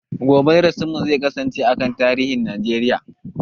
Gobe darasin mu zai kasance a kan tarihin Najeriya